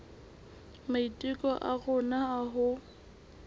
maiteko a rona a ho